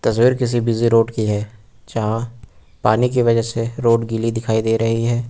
तस्वीर किसी busy road की है यहां पानी की वजह से रोड गीली दिखाई दे रही है।